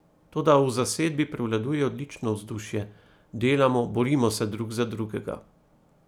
Toda v zasedbi prevladuje odlično vzdušje, delamo, borimo se drug za drugega.